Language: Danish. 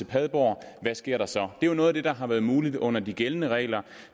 padborg og hvad sker der så det er noget af det der har været muligt under de gældende regler